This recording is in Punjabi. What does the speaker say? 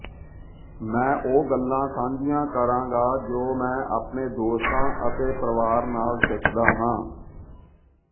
ਮੈਂ ਉਹ ਗੱਲਾਂ ਸਾਂਝੀਆਂ ਕਰਾਂਗਾ ਜੋ ਮੈਂ ਆਪਣੇ ਦੋਸਤਾਂ ਅਤੇ ਪਰਿਵਾਰ ਨਾਲ ਸਿੱਖਦਾ ਹਾਂ